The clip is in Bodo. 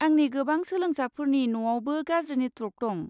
आंनि गोबां सोलोंसाफोरनि न'आवबो गाज्रि नेटवर्क दं।